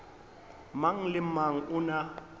mang le mang o na